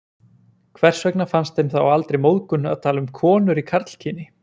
Hvers vegna fannst þeim þá aldrei móðgun að tala um konur í karlkyni?